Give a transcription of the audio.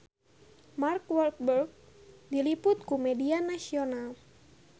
Mark Walberg diliput ku media nasional